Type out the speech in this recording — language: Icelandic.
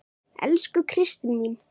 Elsku Kristín mín.